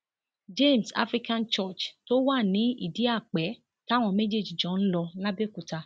james african church tó wà ní ìdíàpè táwọn méjèèjì jọ ń lò làbẹòkúta